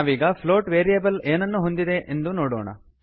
ನಾವೀಗ plot variable ಏನನ್ನು ಹೊಂದಿದೆ ಎಂದು ನೋಡೋಣ